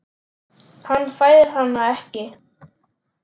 Hann fær hana ekki.